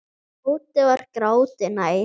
Tóti var gráti nær.